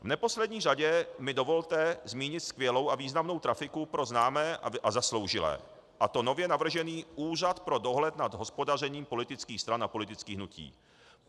V neposlední řadě mi dovolte zmínit skvělou a významnou trafiku pro známé a zasloužilé, a to nově navržený Úřad pro dohled nad hospodařením politických stran a politických hnutí.